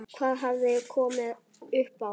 Hvað hafði komið upp á?